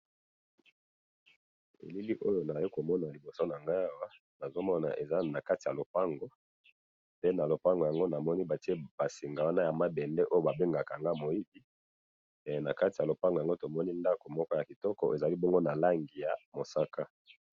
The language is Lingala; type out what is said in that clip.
Elili oyo nazali komona liboso na ngai awa, nazo mona eza na kati ya lopango, pe na lopango yango batie basinga wana ya mabende babengaka kanga moibi na kati ya lopango yango tomoni ndako moko ya kitoko ezali bongo na langi ya mosaka